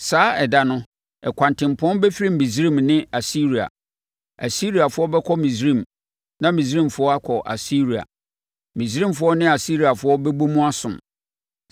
Saa ɛda no, ɛkwantempɔn bɛfiri Misraim ne Asiria. Asiriafoɔ bɛkɔ Misraim na Misraimfoɔ akɔ Asiria. Misraimfoɔ ne Asiriafoɔ bɛbɔ mu asom.